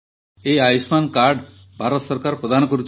ଏହି ଆୟୁଷ୍ମାନ କାର୍ଡ଼ ଭାରତ ସରକାର ପ୍ରଦାନ କରୁଛନ୍ତି